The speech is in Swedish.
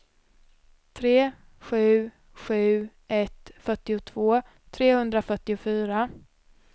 tre sju sju ett fyrtiotvå trehundrafyrtiofyra